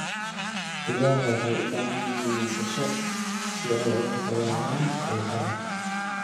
Digaagga waxay u baahan yihiin nasasho si ay uga fogaadaan diiqada.